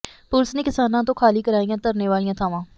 police ਨੇ ਕਿਸਾਨਾਂ ਤੋਂ ਖਾਲੀ ਕਰਾਈਆਂ ਧਰਨੇ ਵਾਲੀਆਂ ਥਾਵਾਂ